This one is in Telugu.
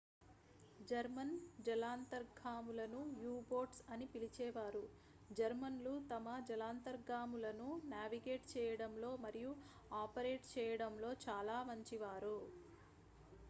జర్మన్ జలాంతర్గాములను యు-బోట్స్ అని పిలిచేవారు జర్మన్లు తమ జలాంతర్గాములను నావిగేట్ చేయడంలో మరియు ఆపరేట్ చేయడంలో చాలా మంచివారు